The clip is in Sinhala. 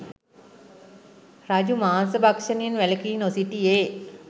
රජු මාංශ භක්‍ෂණයෙන් වැළකී නොසිටියේ